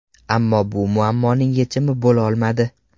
Ammo bu muammoning yechimi bo‘lolmadi.